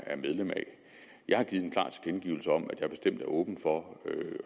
er medlem af jeg har givet en klar tilkendegivelse om at jeg bestemt er åben for at